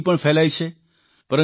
ગંદકી પણ ફેલાવે છે